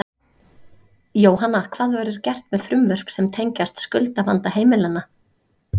Jóhanna, hvað verður gert með frumvörp sem tengjast skuldavanda heimilanna?